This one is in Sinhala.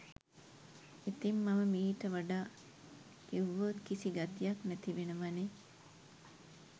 ඉතිං මම මීට වඩා කිව්වොත් කිසි ගතියක් නැති වෙනවනෙ